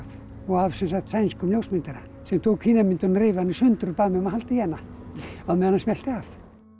og af sænskum ljósmyndara sem tók hina myndina reif hana í sundur og bað mig að halda í hana á meðan hann smellti af